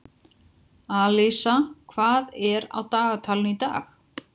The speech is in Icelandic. Alísa, hvað er á dagatalinu í dag?